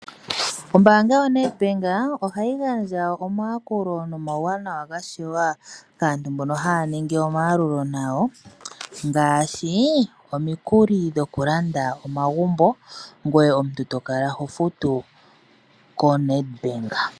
Ombaanga yoNEDBANK ohayi gandja omayakulo nomauwanawa ga shewa kaantu mbono haya ningi omayalulo gawo ngaashi omikuli dhoku landa omagumbo, ngoye omuntu to kala ho futu koNEDBANK.